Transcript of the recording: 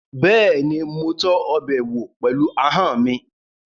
Bẹ́ẹ̀ni, mo tọ́ ọbẹ̀ wò pẹ̀lú ahọ́n mi